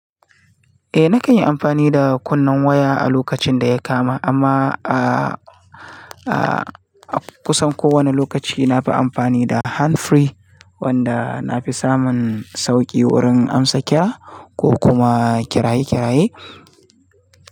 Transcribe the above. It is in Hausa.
Eh nakan yi amfani da kunnen waya a lokacin da ya kama amma a kusan kowane lokaci nafi amfani da handfree wanda nafi samun sauki wurin amsa kira ko kuma kiraye kiraye.